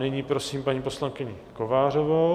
Nyní prosím paní poslankyni Kovářovou.